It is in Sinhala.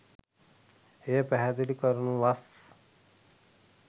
එය පැහැදිලි කරනුවස්